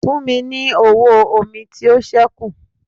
Fùn mi ní ọwọ mí to sẹkú!